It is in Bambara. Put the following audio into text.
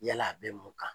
Yala a bɛ mun kan